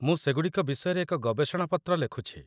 ମୁଁ ସେଗୁଡ଼ିକ ବିଷୟରେ ଏକ ଗବେଷଣା ପତ୍ର ଲେଖୁଛି।